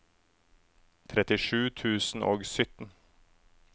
trettisju tusen og sytten